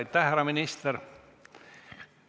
Aitäh, härra minister!